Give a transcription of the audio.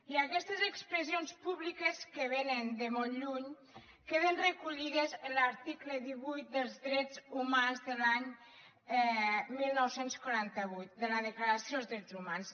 i aquestes expressions públiques que vénen de molt lluny queden recollides en l’article divuit dels drets humans de l’any dinou quaranta vuit de la declaració dels drets humans